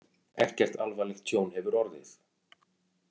Ekkert alvarlegt tjón hefur orðið